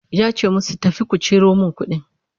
yace musu "tafi ku Ciro min kuɗin!"